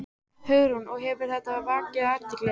Hugrún: Og hefur þetta vakið athygli?